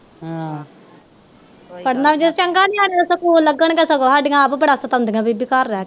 ਪੜ੍ਹਨਾ ਕਿਉ ਚੰਗਾ ਨਿਆਣੇ ਸਗੋਂ ਸਾਡੀਆਂ ਆਪ ਬੜਾ ਸਤਾਉਂਦੀਆਂ ਬੀਬੀ ਕੇ